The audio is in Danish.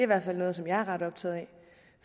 hvert fald noget som jeg er ret optaget